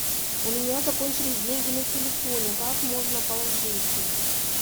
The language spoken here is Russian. у меня закончились деньги на телефоне как можно положить их